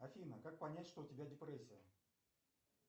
афина как понять что у тебя депрессия